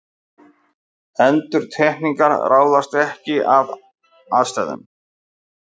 Endurtekningar ráðast ekki af aðstæðum.